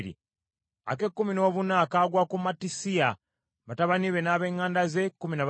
ak’ekkumi noobutaano kagwa ku Yeremosi, batabani be n’ab’eŋŋanda ze, kkumi na babiri;